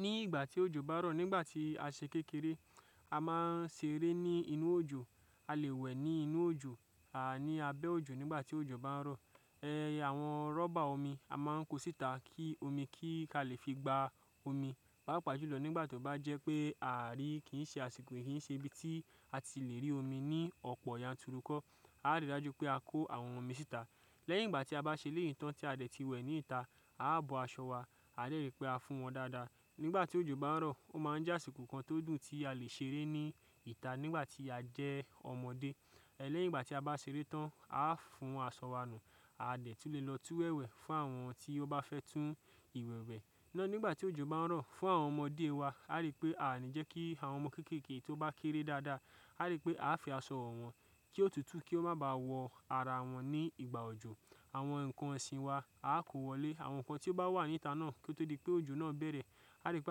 Ní ìgbà tí òjò bá rọ̀ nígbà tí a se kékeré, a máa ń seré ní inú òjò, a lè wẹ̀ ní inú òjò, àní a bẹ́ òjò nígbà tí òjò bá ń rọ̀. Ẹ̀, àwọn rọ́bà omi a máa ń kó síta kí omi kí a lè fi gba omi, pàápàá jùlọ nígbà tó bá jẹ́ pé ààrí kì í ṣe àsìkò kì í ṣe ibi tí a ti lè rí omi ní ọ̀pọ̀ yanturukọ̀, a rí i dájú pé a kó àwọn omi síta. Lẹ́yìn ìgbà tí a bá ṣe eléyìí tán tí a dẹ̀ ti wẹ̀ ní ìta, a á bọ́ aṣọ wa, a dè rí pé a fún wọn dáadáa. Nígbà tí òjò bá ń rọ̀, ó máa ń jásìkò kan tó dùn tí a lè ṣeré ní ìta nígbà tí a jẹ́ ọmọdé. Ẹ̀, lẹ́yìn ìgbà tí a bá ṣeré tán, a á fún aṣọ wa nu, a dẹ̀ tú lè lọ tú ìwẹ̀ fún àwọn tí ó bá fẹ́ tú ìwẹ̀ wẹ̀. Ná nígbà tí òjò bá ń rọ̀, fún àwọn ọmọdé wa, a rí pé àní jẹ́ kí àwọn ọmọ kéékèèké tó bá kéré dáadáa, a rí pé a fi aṣọ wọn kí ó tutù kí ó má ba wọ àrà wọn ní ìgbà òjò. Àwọn ǹkan ọ̀sìn wa a kó wọlé, àwọn ǹkan tí ó bá wà ní ìta náà kí ó tó di pé òjò náà bẹ̀rẹ̀, a rí pé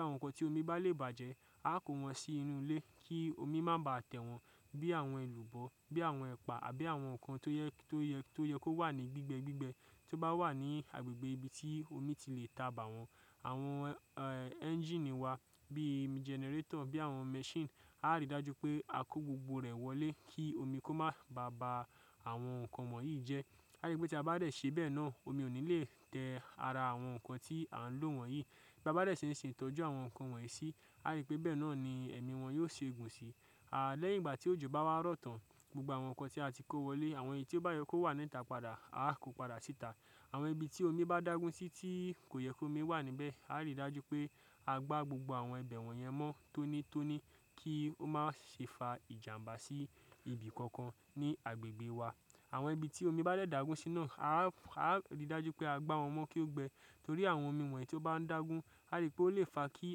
àwọn ǹkan tí omi bá lè bàjẹ́, a kó wọn sí inú ilé kí omi má ba tẹ̀ wọ́n bí àwọn èlùbọ́, bí àwọn ẹ̀pà àbí àwọn ǹkan tó yẹ kó wà ní gbígbẹ gbígbẹ tó bá wà ní agbègbè ibi tí omi ti lè tà bà wọ̀n. Àwọn, ẹ́, ẹ́ńjíìnì wa bí i jẹnẹrétọ̀ bí àwọn mẹ́sìn, a rí i dájú pé a kó gbogbo rẹ̀ wọlé kí omi kó má ba ba àwọn ǹkan wọ̀nyí jẹ́. A rí pé tí a bá dẹ̀ ṣe bẹ́ẹ̀ náà omi ò ní lè tẹ́ ara àwọn ǹkan tí à ń lò wọ̀nyí. Bí a bá dẹ̀ ṣe ń ṣètọ́jú àwọn ǹkan wọ̀nyí síi, a rí pé bẹ́ẹ̀ náà ni ẹ̀mí wọ́n yóò ṣe ògùn sí i. A, lẹ́yìn ìgbà tí òjò bá wá rọ̀ tán, gbogbo àwọn ǹkan tí a ti kó wọlé, àwọn èyí tí ó bá yẹ kó wà ní ìta padà a kó padà síta. Àwọn ibi tí omi bá dàgún sí tí kò yẹ kó omi wà níbẹ̀, a rí i dájú pé a gbá gbogbo àwọn ibẹ̀ wọ̀nyẹn mọ́ tónítóní kí ó má ṣe fa ìjàǹbá sí ibi kankan ní agbègbè wa. Àwọn ibi tí omi bá dẹ̀ dàgún sí náà, a rí i dájú pé a gbá wọn mọ́ kí ó gbẹ torí àwọn omi wọ̀nyí tí ó bá ń dàgún, a rí pé ó lè fa kí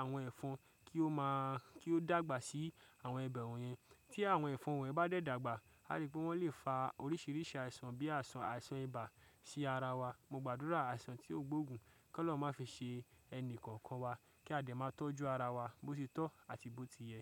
àwọn ẹ̀fọn kí ó má, kí ó dàgbà sí àwọn ibẹ̀ wọ̀nyẹn. Tí àwọn ẹ̀fọn wọ̀nyí bá dẹ̀ dàgbà, a rí pé wọ́n lè fa oríṣiríṣi àìsàn bí àìsàn, àìsàn ibà sí ara wa. Mo gbàdúrà àìsàn tí ó gbógun kí wọ́n má fi ṣe ẹni kankan wa kí a dè má tọ́jú ara wa bó ti tọ́ àti bó ti yẹ.